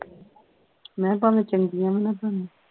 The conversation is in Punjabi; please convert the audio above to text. ਮੈਂ ਭਾਵੇਂ ਚੰਗੀਆਂ ਵੀ ਨਾ ਬਣਨ